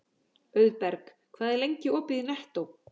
Auðberg, hvað er lengi opið í Nettó?